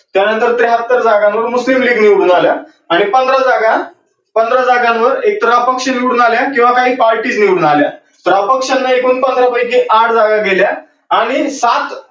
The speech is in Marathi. त्यानंतर त्र्याहत्तर जागांवर मुस्लीम लीग निवडून आलं आणि पंधरा जागा, पंधरा जागांवर एक तर अपक्ष निवडून आल्या किव्वा काही पार्टी निवडून आल्या. तर अपक्ष च्या एकूण पंधरा पैकी आठ जागा गेल्या आणि सात